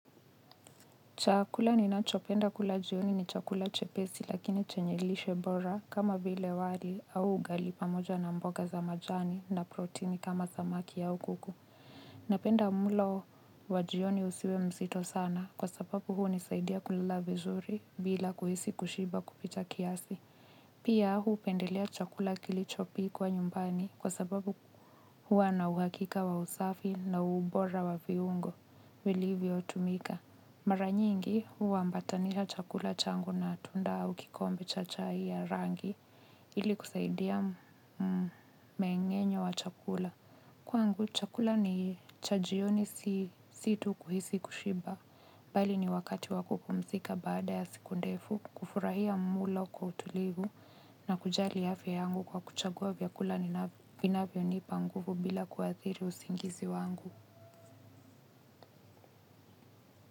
Chakula ninachopenda kulajioni ni chakula chepesi lakini chenye lishe bora kama vile wali au ugali pamoja na mboga za majani na protini kama zamaki au kuku. Napenda mulo wajioni usiwe mzito sana kwa sababu huu nisaidia kulala vizuri bila kuhisi kushiba kupita kiasi. Pia hupendelea chakula kilichopikwa nyumbani kwa sababu huwa na uhakika wa usafi na ubora wa viungo vilivyotumika mara nyingi huambatanisha chakula changu na tunda au kikombe cha chai ya rangi ili kusaidia mengenyo wa chakula. Kwangu chakula ni chajioni si situ kuhisi kushiba. Bali ni wakati wa kupumzika baada ya siku ndefu kufurahia mlo kwa utulivu na kujali hafi ya angu kwa kuchagua vyakula ninavyo nipa nguvu bila kuwathiri usingizi wangu.